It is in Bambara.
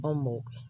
An mɔ